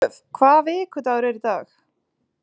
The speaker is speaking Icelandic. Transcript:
Ólöf, hvaða vikudagur er í dag?